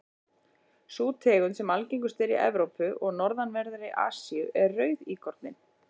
sú tegund sem algengust er í evrópu og norðanverðri asíu er rauðíkorninn